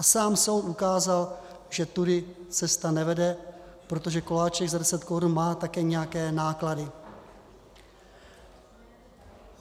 A sám soud ukázal, že tudy cesta nevede, protože koláček za 10 korun má také nějaké náklady.